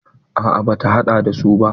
A'a bata haɗa da su ba.